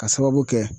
Ka sababu kɛ